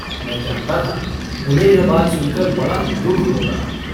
मैं जानता था उन्हें यह बात सुनकर बड़ा दुःख होगा।